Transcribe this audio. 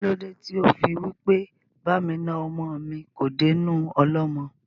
Kílódé tí ó fí wí pé "Ba mi na ọmọ mi kò dé inú ọlọ́mọ?"